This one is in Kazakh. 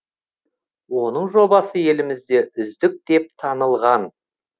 оның жобасы елімізде үздік деп танылған